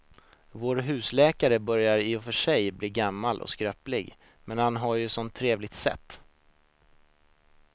Vår husläkare börjar i och för sig bli gammal och skröplig, men han har ju ett sådant trevligt sätt!